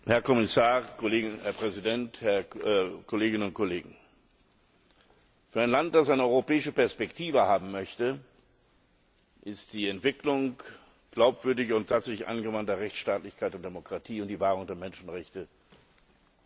Herr Präsident, Herr Kommissar, Kolleginnen und Kollegen! Für ein Land, das eine europäische Perspektive haben möchte, ist die Entwicklung glaubwürdiger und tatsächlich angewandter Rechtsstaatlichkeit und Demokratie und die Wahrung der Menschenrechte Bedingung.